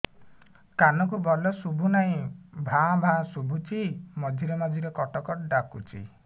କାନକୁ ଭଲ ଶୁଭୁ ନାହିଁ ଭାଆ ଭାଆ ଶୁଭୁଚି ମଝିରେ ମଝିରେ କଟ କଟ ଡାକୁଚି